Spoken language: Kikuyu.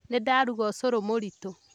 Nĩ ndaruga ũcũrũmũritũ